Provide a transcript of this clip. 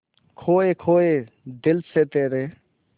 खोए खोए दिल से तेरे